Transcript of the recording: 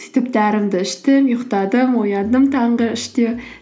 сөйтіп дәрімді іштім ұйықтадым ояндым таңғы үште